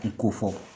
I ko fɔ